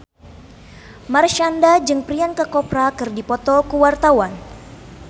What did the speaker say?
Marshanda jeung Priyanka Chopra keur dipoto ku wartawan